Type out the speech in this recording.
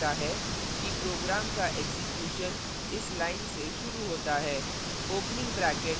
यह व्यक्त करता है कि program का एक्जीक्यूशन इस line से शुरू होता है